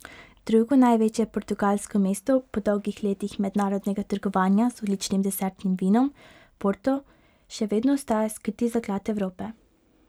Drugo največje portugalsko mesto po dolgih letih mednarodnega trgovanja z odličnim desertnim vinom porto, še vedno ostaja skriti zaklad Evrope.